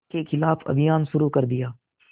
के ख़िलाफ़ अभियान शुरू कर दिया